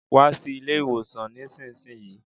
Wa sí ilé ìwòsàn nísinsìnyí